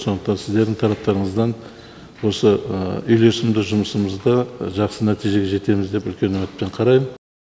сондықтан сіздердің тараптарыңыздан осы үйлесімді жұмысымызда жақсы нәтижеге жетеміз деп үлкен үмітпен қараймын